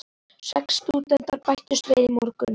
Sex stúdentar bættust við í morgun.